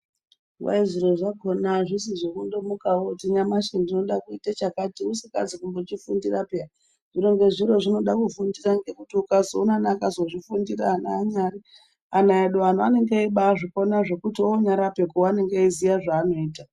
Kwai zviro zvakona hazvisi zvekungomuka woti nyamashi ndinode kuite chakati usingazi kumbozvifundira peya mborye zviro zvinoda kufundisa nekuti ukazoone ana akazvifundira anyari ana edu antu anenge eyimbai zvikona zvekuti onyarape unenge eyzviziva zvaanenge oita.